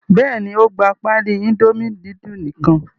Bẹ́ẹ̀ ni, ó gba páálí Indomie núdúlù kan.